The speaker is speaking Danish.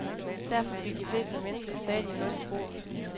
Derfor fik de fleste mennesker stadig mad på bordet.